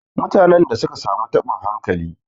Mutanen da suka samu taɓin hankali.